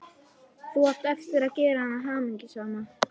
Þú átt eftir að gera hana hamingjusama.